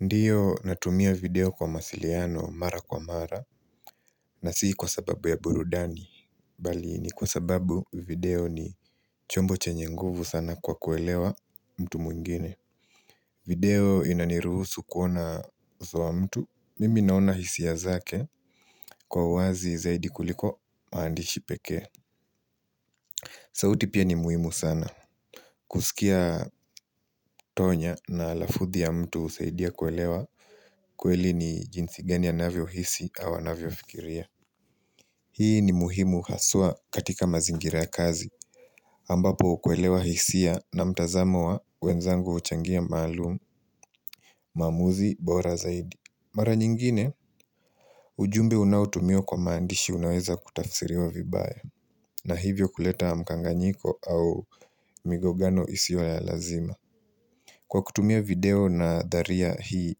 Ndiyo natumia video kwa mawasiliano mara kwa mara na sii kwa sababu ya burudani bali ni kwa sababu video ni chombo chenye nguvu sana kwa kuelewa mtu mwingine video inaniruhusu kuona uso wa mtu mimi naona hisia zake kwa uwazi zaidi kuliko maandishi pekee sauti pia ni muhimu sana kuskia tonya na alafuthi ya mtu husaidia kuelewa kweli ni jinsi gani anavyohisi au anavyofikiria Hii ni muhimu haswa katika mazingira ya kazi ambapo kuelewa hisia na mtazamo wa wenzangu huchangia maalumu maamuzi bora zaidi Mara nyingine ujumbe unaotumiwa kwa maandishi unaweza kutafisiriwa vibaya na hivyo kuleta mkanganyiko au migogano isiyo ya lazima Kwa kutumia video nadharia hii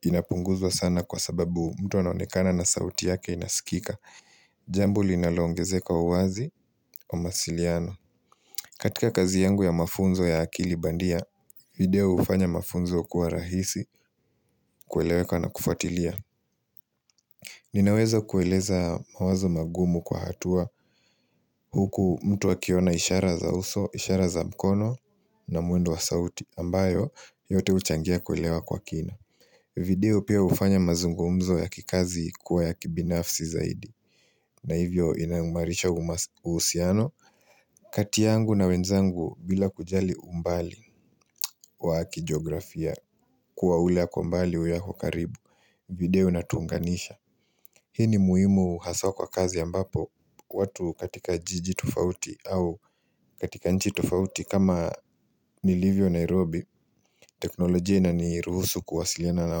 Inapunguzwa sana kwa sababu mtu anonekana na sauti yake inasikika Jambo linaloongezeka uwazi wa masiliano katika kazi yangu ya mafunzo ya akili bandia video hufanya mafunzo kuwa rahisi kueleweka na kufatilia Ninaweza kueleza mawazo magumu kwa hatua Huku mtu akiona ishara za uso, ishara za mkono na mwendo wa sauti ambayo yote huchangia kuelewa kwa kina video pia hufanya mazungumzo ya kikazi kuwa ya kibinafsi zaidi na hivyo inaumarisha uhusiano kati yangu na wenzangu bila kujali umbali Kwa kijografia kuwa ule ako mbali uyu ako karibu video inatuunganisha Hii ni muhimu haswa kwa kazi ambapo watu katika jiji tofauti au katika nchi tofauti kama nilivyo Nairobi teknolojia inaniruhusu kuwasiliana na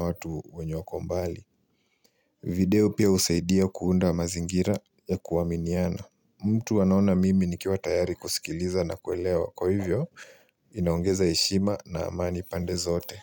watu wenye wako mbali video pia husaidia kuunda mazingira ya kuaminiana mtu anaona mimi nikiwa tayari kusikiliza na kuelewa kwa hivyo ndiyo natumia video kwa masiliano mara kwa mara na sii kwa sababu ya burudani.